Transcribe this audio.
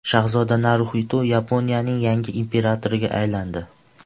Shahzoda Naruxito Yaponiyaning yangi imperatoriga aylandi.